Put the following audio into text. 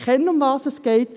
Ich weiss, worum es geht.